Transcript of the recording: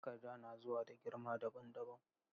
Takarda na zuwa da girma dabam dabam.